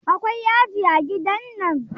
Akwai yaji a gidan nan?